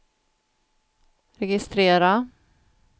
registrera